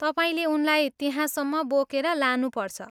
तपाईँले उनलाई त्यहाँसम्म बोकेर लानुपर्छ।